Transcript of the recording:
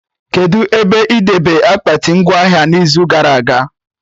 Kedụ ebe ị debe akpati ngwa ahịa n'izu gara aga?